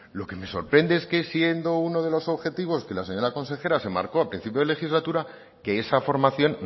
lo que me sorprende es que siendo uno de los objetivos que la señora consejera se marcó a principios de legislatura que esa formación